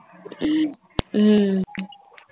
ஹம்